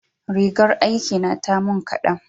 rigar aiki na ta mun kadan